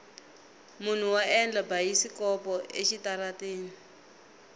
munhu wa endla bayisikopo exitarateni